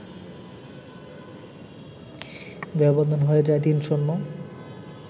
ব্যবধান হয়ে যায় ৩-০